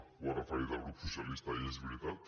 ho ha referit el grup socialista i és veritat